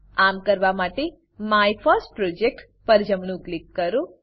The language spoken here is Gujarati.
આમ કરવા માટે માયફર્સ્ટપ્રોજેક્ટ માયફર્સ્ટપ્રોજેક્ટ પર જમણું ક્લિક કરો